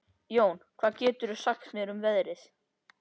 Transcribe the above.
Jón, hvað geturðu sagt mér um veðrið?